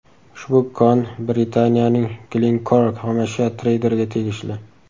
Ushbu kon Britaniyaning Glencore xomashyo treyderiga tegishli.